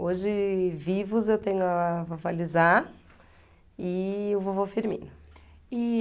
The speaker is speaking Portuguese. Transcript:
Hoje, vivos, eu tenho a vovó Lisá e o vovô Firmino. E